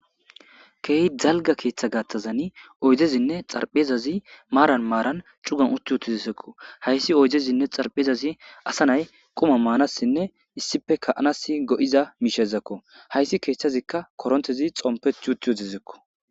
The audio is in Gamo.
Keehi dalgga keeththa garssan oydezinne tsarphezazi maran maran cittan utti uttiziko. Haysi oydezinne tsarphezazi asa nay qumma manassinne, issippe ka'anassi go'iza mishako. Haysi keeththazikka korintteza tsompetti uttiziko.